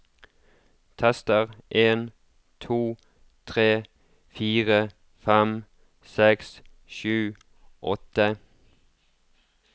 Tester en to tre fire fem seks sju åtte